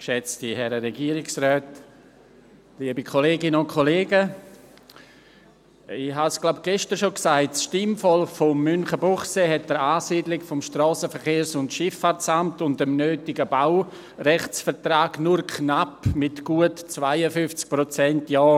Ich glaube, ich habe es gestern schon gesagt: Das Stimmvolk von Münchenbuchsee hat der Ansiedlung des Strassenverkehrs- und Schifffahrtsamts (SVSA) und dem nötigen Baurechtsvertrag nur knapp zugestimmt, mit gut 52 Prozent Ja.